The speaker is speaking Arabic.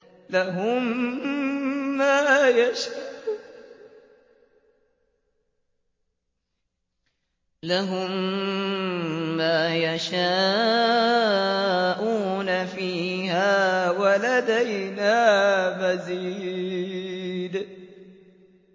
لَهُم مَّا يَشَاءُونَ فِيهَا وَلَدَيْنَا مَزِيدٌ